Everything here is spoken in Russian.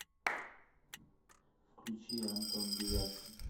включи антон девяткин